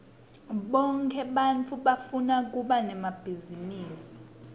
bonkhe ebantfu bafuna kuba nemabhizinisi